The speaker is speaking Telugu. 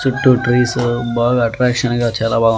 చుట్టూ ట్రీసు బాగా అట్రాక్షన్ గా చాలా బా--